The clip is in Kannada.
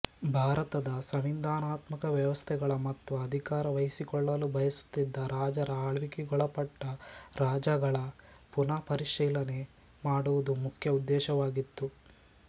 ಭಾರತದ ಸಂವಿಧಾನಾತ್ಮಕ ವ್ಯವಸ್ಥೆಗಳ ಮತ್ತು ಅಧಿಕಾರ ವಹಿಸಿಕೊಳ್ಳಲು ಬಯಸುತ್ತಿದ್ದ ರಾಜರ ಆಳ್ವಿಕೆಗೊಳಪಟ್ಟ ರಾಜ್ಯಗಳ ಪುನಃಪರಿಶೀಲನೆ ಮಾಡುವುದು ಮುಖ್ಯ ಉದ್ದೇಶವಾಗಿತ್ತು